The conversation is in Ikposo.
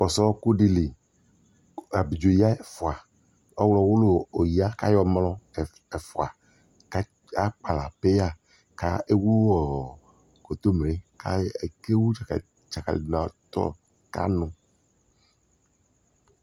kɔsʋ ɔkʋ dili kʋ abidzɔ ya ɛƒʋa, ɔwlɔ wʋlʋ ɔya kʋ ayɔ mlɔ ɛƒʋa ka akpala pɛya kʋ ɛwʋɔ kɔntɔmirɛ kʋ ɛwʋ dzakali dʋkʋanʋ